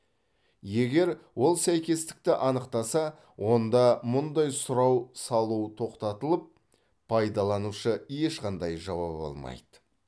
егер ол сәйкестікті анықтаса онда мұндай сұрау салу тоқтатылып пайдаланушы ешқандай жауап алмайды